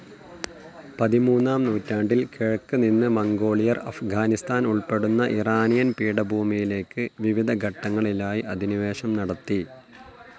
പതിമൂന്നാം നൂറ്റാണ്ടിൽ കിഴക്ക് നിന്ന് മംഗോളിയർ അഫ്ഗാനിസ്ഥാൻ ഉൾപ്പെടുന്ന ഇറാനിയൻ പീഠഭൂമിയിലേക്ക് വിവിധ ഘട്ടങ്ങളിലായി അധിനിവേശം നടത്തി.